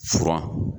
Furan